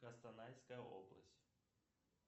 кустанайская область